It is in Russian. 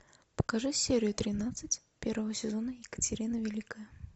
покажи серию тринадцать первого сезона екатерина великая